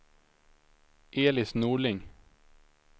Elis Norling